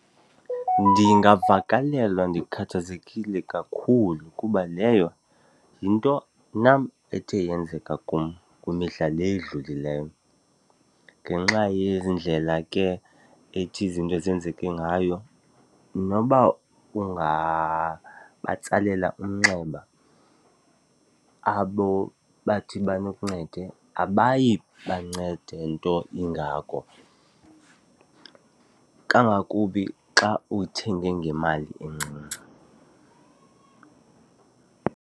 Ndingavakalelwa ndikhathazekile kakhulu kuba leyo yinto nam ethe yenzeka kum kwimihla le edlulileyo. Ngenxa yezi ndlela ke ethi izinto zenzeke ngayo, noba ungabatsalela umnxeba abo bathi bakuncede, abayi bancede nto ingako kangakumbi xa uthenge ngemali encinci.